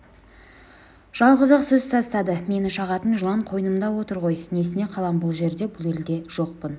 жалғыз-ақ сөз тастады мені шағатын жылан қойнымда отыр ғой несіне қалам бұл жерде бұл елде жоқпын